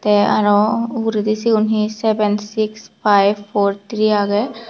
te aaro ugureedi siyon he seven six five four three aage.